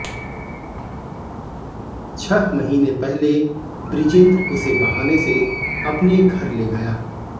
छह महीने पहले बृजेंद्र उसे बहाने से अपने घर ले गया